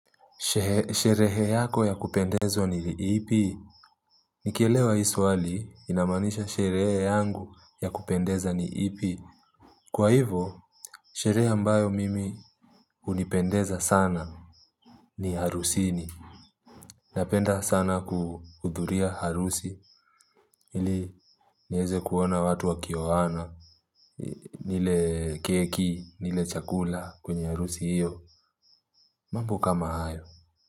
Sherehe yako ya kupendezwa ni ipi? Nikielewa hii swali inamaanisha sherehe yangu ya kupendeza ni ipi. Kwa hivyo, sherehe ambayo mimi hunipendeza sana ni harusini. Napenda sana kuhudhuria harusi ili niweze kuona watu wakioana, nile keki, nile chakula kwenye harusi hiyo. Mambo kama hayo.